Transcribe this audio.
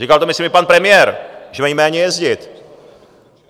Říkal to myslím i pan premiér, že mají méně jezdit.